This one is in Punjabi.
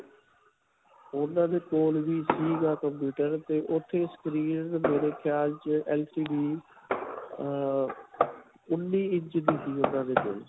ਉਨ੍ਹਾਂ ਦੇ ਕੋਲ ਵੀ ਸਿਗਾ computer ਤੇ ਉੱਥੇ screen ਮੇਰੇ ਖਿਆਲ 'ਚ LCD ਅਅ ਉਨ੍ਨੀਂ ਇੰਚ ਦੀ ਸੀ. ਉਨ੍ਹਾਂ ਦੇ ਕੋਲ.